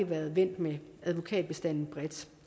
været vendt med advokatstanden bredt